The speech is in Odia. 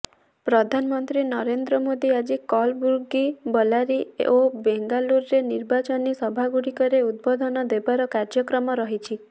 ପ୍ରଧାନମନ୍ତ୍ରୀ ନରେନ୍ଦ୍ର ମୋଦି ଆଜି କଲ୍ଲବୁର୍ଗି ବଲ୍ଲାରୀ ଓ ବେଙ୍ଗାଲୁରୁରେ ନିର୍ବାଚନୀ ସଭାଗୁଡ଼ିକରେ ଉଦ୍ବୋଧନ ଦେବାର କାର୍ଯ୍ୟକ୍ରମ ରହିଛି